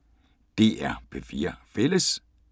DR P4 Fælles